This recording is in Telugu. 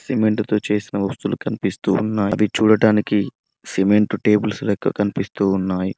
సిమెంట్ తో చేసిన వస్తువులు కనిపిస్తూ ఉన్నాయి ఇవి చూడటానికి సిమెంట్ టేబుల్స్ లెక్క కనిపిస్తూ ఉన్నాయి.